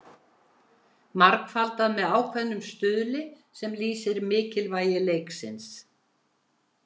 Margfaldað með ákveðnum stuðli sem lýsir mikilvægi leiksins.